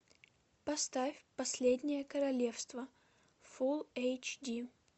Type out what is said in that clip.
поставь последнее королевство фул эйч ди